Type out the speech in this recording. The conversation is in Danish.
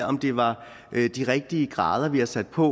om det var de rigtige grader vi har sat på